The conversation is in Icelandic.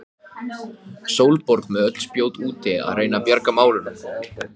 Eitthvað verður maður að hafa út af fyrir sig.